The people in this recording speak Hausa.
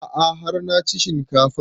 A'a har na ci shinkafan